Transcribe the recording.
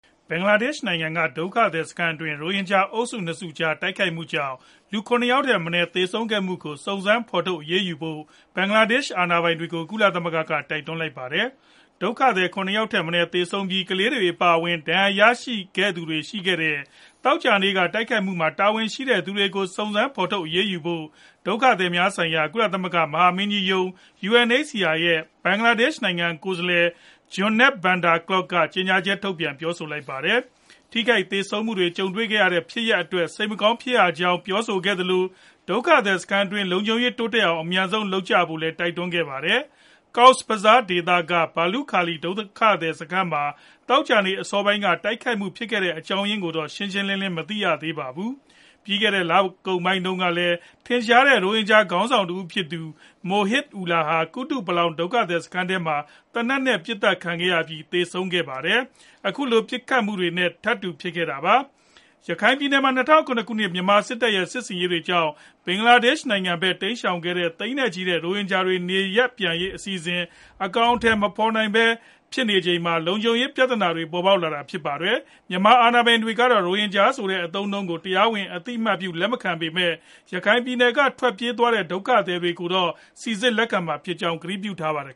ဘင်္ဂလားဒေ့ရှ် နို င်ငံက ဒုက္ခသည်စခန်းတွင်း ရိုဟင်ဂျာအုပ်စု ၂ ခုကြား တိုက်ခိုက်မှုကြောင့် လူ ၇ ယောက်ထက်မနည်း သေဆုံးခဲ့မှုကို စုံစမ်းဖော်ထုတ် အရေးယူဖို့ ဘင်္ဂလားဒေ့ရှ် အာဏာပိုင်တွေကို ကုလသမဂ္ဂက တိုက်တွန်းလိုက်ပါတယ်။ ဒုက္ခသည် ၇ ယောက်ထက်မနည်း သေဆုံးပြီး၊ ကလေးတွေ အပါအဝင် ဒဏ်ရာရသူတွေ ရှိခဲ့တဲ့ သောကြာနေ့က တိုက်ခိုက်မှုမှာ တာဝန်ရှိတဲ့ သူတွေကို စုံစမ်းဖော်ထုတ် အရေးယူဖို့ ဒုက္ခသည်များဆိုင်ရာ ကုလသမဂ္ဂ မဟာမင်းကြီးရုံး (UNHCR) ရဲ့ ဘင်္ဂလားဒေ့ရှ်ဆိုင်ရာ ကိုယ်စားလှယ် Johannes Van Der Klaauw က ကြေညာချက် ထုတ်ပြန်ပြောဆိုလိုက်တာပါ။ ထိခိုက်သေဆုံးမှုတွေ ကြုံခဲ့ရတဲ့ ဖြစ်ရပ်အတွက် စိတ်မကောင်း ဖြစ်ရကြောင်း ပြောဆိုခဲ့သလို၊ ဒုက္ခသည်စခန်းတွင်း လုံခြုံရေး တိုးတက်အောင် အမြန်ဆုံး လုပ်ကြဖို့လည်း တိုက်တွန်းခဲ့ပါတယ်။ Cox's Bazar ဒေသက ဘာလုခါလီ ဒုက္ခသည်စခန်းမှာ သောကြာနေ့ အစောပိုင်းက တိုက်ခိုက်မှုဖြစ်ခဲ့တဲ့ အကြောင်းရင်းကိုတော့ ရှင်းရှင်းလင်းလင်း မသိရသေးပါဘူး။ ပြီးခဲ့တဲ့ လကုန်ပိုင်းမှာတုန်းကလည်း ထင်ရှားတဲ့ ရိုဟင်ဂျာခေါင်းဆောင်တဦးဖြစ်သူ Mohib Ullah ဟာ ကုတုပလောင် ဒုက္ခသည်စခန်းထဲမှာ သေနတ်နဲ့ ပစ်သတ်ခံခဲ့ရအပြီး သေဆုံးခဲ့ဖူးပါတယ်။ အခုလို ပစ်ခတ်သတ်ဖြတ်မှု ထပ်ဖြစ်တာပါ။ ရခိုင်ပြည်နယ်မှာ ၂၀၁၇ မြန်မာစစ်တပ်ရဲ့ စစ်ဆင်ရေးတွေကြောင့် ဘင်္ဂလားဒေ့ရှ်နိုင်ငံဖက် တိမ်းရှောင်သွားခဲ့ကြတဲ့ သိန်းနဲ့ချီတဲ့ ရိုဟင်ဂျာတွေ နေရပ်ပြန်ရေး အစီအစဉ်တွေ အကောင်အထည် မဖော်နိုင်သေးပဲ ဖြစ်နေချိန်မှာ လုံခြုံရေးပြဿနာတွေ ပေါ်ပေါက်နေတာလည်းဖြစ်ပါတယ်။ မြန်မာအာဏာပိုင်တွေကတော့ ရိုဟင်ဂျာဆိုတဲ့ အသုံးအနှုန်းကို တရားဝင် အသိအမှတ်ပြု လက်မခံပေမဲ့ ရခိုင်ပြည်နယ်က ထွက်ပြေးသွားတဲ့ ဒုက္ခသည်တွေကို စိစစ်လက်ခံမှာ ဖြစ်ကြောင်း ကတိပြုထားပါတယ်